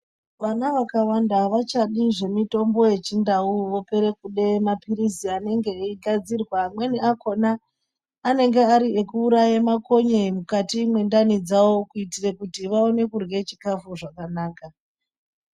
Vana vakawanda havachadi zvemitombo yechindau, vopere kude mapirisi enenge eigadzirwa, amweni akona anenge ari ekuuraya makonye mukati mwendani dzavo kuitira kuti vawane kudywe chikafu zvakanaka.